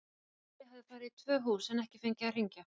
Lúlli hafði farið í tvö hús en ekki fengið að hringja.